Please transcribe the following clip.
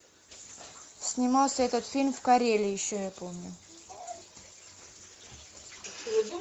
снимался этот фильм в карелии еще я помню